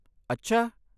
ਅੱਛਾ!